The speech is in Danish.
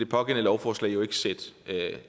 pågældende lovforslag jo ikke sætte